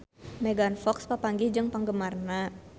Megan Fox papanggih jeung penggemarna